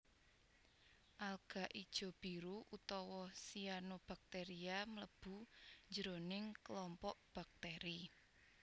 Alga ijo biru utawa Cyanobacteria mlebu jroning klompok baktèri